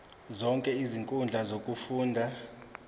zonke izinkundla zokufunda